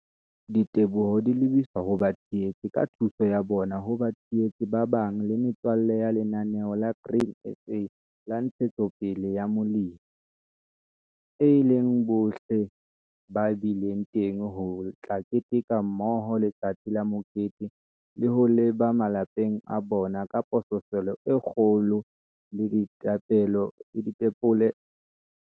Diteboho di lebiswa ho batshehetsi ka thuso ya bona ho batshehetsi ba bang le metswalle ya Lenaneo la Grain SA la Ntshetsopele ya Molemi, e leng bohle ba bileng teng ho tla keteka mmoho LETSATSI LA MOKETE le ho leba malapeng a bona ka pososelo e kgolo le dipelo tse thabileng - hobane kopano le balemi ba Afrika Borwa e etsa jwalo!